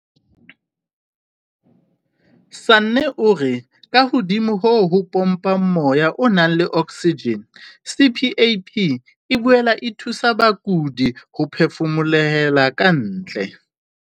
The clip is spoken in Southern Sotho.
"Sanne o re kahodimo ho ho pompa moya o nang le oksijene, CPAP e boela e thusa bakudi ho phefumolohela ka ntle."